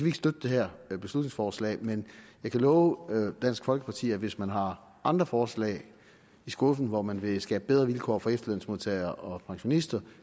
ikke støtte det her beslutningsforslag men jeg kan love dansk folkeparti at hvis man har andre forslag i skuffen hvor man vil skabe bedre vilkår for efterlønsmodtagere og pensionister